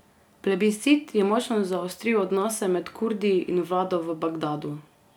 Plebiscit je močno zaostril odnose med Kurdi in vlado v Bagdadu.